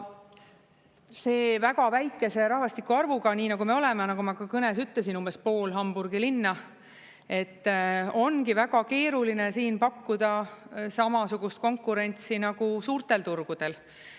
See väga väikese rahvastiku arvuga, nii nagu me oleme, nagu ma ka kõnes ütlesin, umbes pool Hamburgi linna – ongi väga keeruline siin pakkuda samasugust konkurentsi nagu suurtel turgudel.